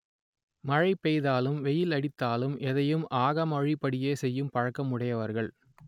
மழை பொழிந்தாலும் வெயில் அடித்தாலும் எதையும் ஆகம விதிப்படியே செய்யும் பழக்கம் உடையவர்கள்